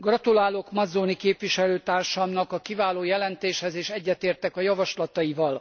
Gratulálok Mazzoni képviselőtársamnak a kiváló jelentéshez és egyetértek a javaslataival.